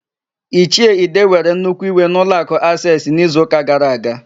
Ichie ide were nnukwu iwe n'ụlọakụ Aseesị n'izuụka gara aga.